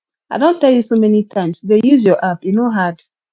i don tell you so many times dey use your app e no hard